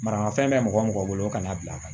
Manamafɛn bɛ mɔgɔ o mɔgɔ bolo kana bila